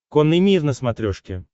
конный мир на смотрешке